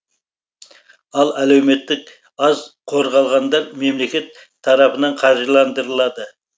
ал әлеуметтік аз қорғалғандар мемлекет тарапынан қаржыландырылады